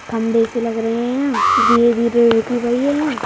खम्भे से लग रहे हैं यहाँधीरे-धीरे रुक